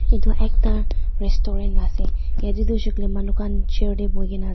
etu ekta restaurant ase yate tu hoise koiley manu khan chair teh bohi ke na ase.